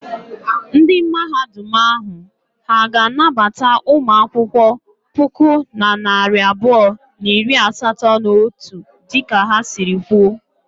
Ndị Mahadum ahụ ha ga-anabata ụmụ akwụkwọ puku na narị abụọ na iri asatọ na otu dịka ha sịrị kwuo?